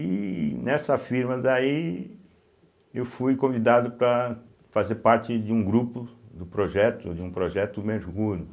E nessa firma daí eu fui convidado para fazer parte de um grupo do projeto, de um projeto me.